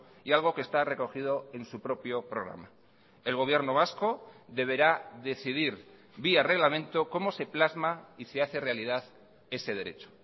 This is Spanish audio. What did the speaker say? y algo que está recogido en su propio programa el gobierno vasco deberá decidir vía reglamento cómo se plasma y se hace realidad ese derecho